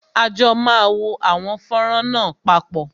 À jọ máa wo àwọn fọ́nrán náà papọ